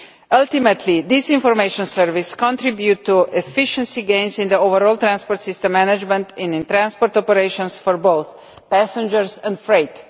Ultimately, this information service contributes to efficiency gains in overall transport system management and in transport operations for both passengers and freight.